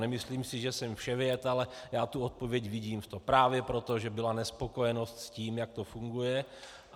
Nemyslím si, že jsem vševěd, ale já tu odpověď vidím v tom právě proto, že byla nespokojenost s tím, jak to funguje.